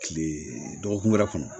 Kile dɔgɔkun wɛrɛ kɔnɔ